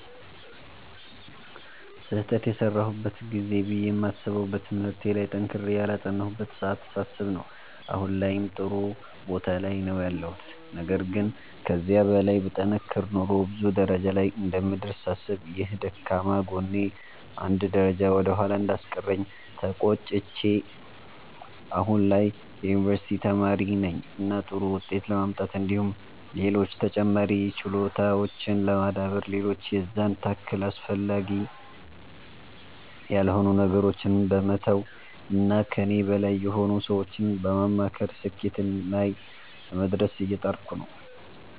ስህተት የሰራሁበት ጊዜ ብዬ የማስበዉ በትምህርቴ ላይ ጠንክሬ ያላጠናሁበትን ሰዓት ሳስብ ነዉ አሁን ላይም ጥሩ ቦታ ላይ ነዉ ያለሁት ነገር ግን ከዚህ በላይ ብጠነክር ኖሮ ብዙ ደረጃ ላይ እንደምደርስ ሳስብ ይህ ደካማ ጎኔ አንድ ደረጃ ወደ ኋላ እንዳስቀረኝ ተቆጭቼ አሁን ላይ የዩኒቨርሲቲ ተማሪ ነኝ እና ጥሩ ዉጤት ለማምጣት እንዲሁም ሌሎች ተጨማሪ ችሎታዎችን ለማዳበር ሌሎች የዛን ታክል አስፈላጊ ያልሆኑ ነገሮችን በመተዉ እና ከኔ በላይ የሆኑ ሰዎችን በማማከር ስኬትና ላይ ለመድረስ እየጣርኩ ነዉ።